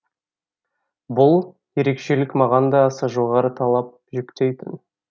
бұл ерекшелік маған да аса жоғары талап жүктейтін